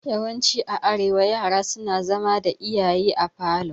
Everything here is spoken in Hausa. Yawanci a arewa yara suna zama da iyaye a falo.